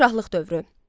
Padşahlıq dövrü.